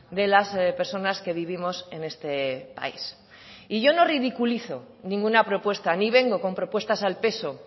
de las personas que vivimos en este país y yo no ridiculizo ninguna propuesta ni vengo con propuestas al peso